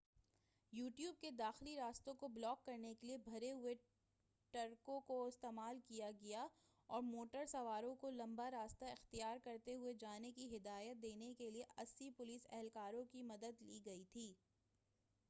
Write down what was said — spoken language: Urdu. ٹیوب کے داخلی راستوں کو بلاک کرنے کیلئے بھرے ہوئے ٹرکوں کا استعمال کیا گیا تھا اور موٹر سواروں کو لمبا راستہ اختیار کرتے ہوئے جانے کی ہدایت دینے کیلئے 80 پولیس اہلکاروں کی مدد لی گئی تھی